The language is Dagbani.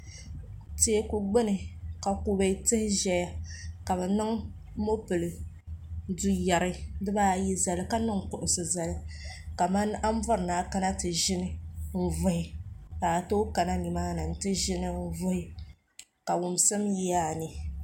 Teeku gbuni ka kubɛ tihi ʒɛya ka bi niŋ mɔpili duu yari di baa ayi zali ka niŋ kuɣusi zali kaman an bɔri ni a kana ti ʒini n vuhi ka a tooyi kana ni maa ni ti ʒini n vuhi ka wumsim yi a ni.